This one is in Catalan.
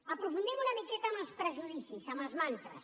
aprofundim una miqueta en els prejudicis en els mantres